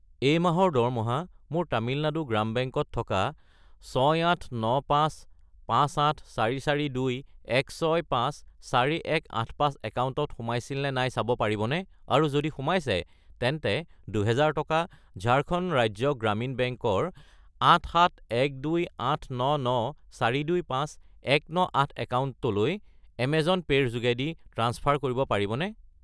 এই মাহৰ দৰমহা মোৰ তামিলনাডু গ্রাম বেংক ত থকা 6895,58442,165,4185 একাউণ্টত সোমাইছিল নে নাই চাব পাৰিবনে, আৰু যদি সোমাইছে তেন্তে 2000 টকা ঝাৰখণ্ড ৰাজ্য গ্ৰামীণ বেংক ৰ 8712899,425,198 একাউণ্টটোলৈ এমেজন পে' ৰ যোগেদি ট্ৰাঞ্চফাৰ কৰিব পাৰিবনে?